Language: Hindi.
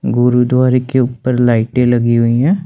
गुरुद्वारे के ऊपर लाइटे लगी हुई है।